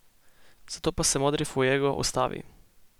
Zato pa se modri fuego ustavi.